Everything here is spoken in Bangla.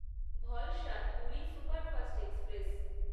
Valsad Puri superfast express